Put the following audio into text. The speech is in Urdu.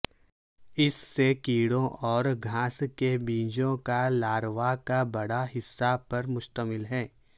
اس سے کیڑوں اور گھاس کے بیجوں کے لاروا کا بڑا حصہ پر مشتمل ہے